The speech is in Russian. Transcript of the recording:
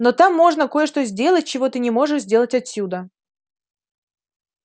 но там можно кое-что сделать чего ты не можешь сделать отсюда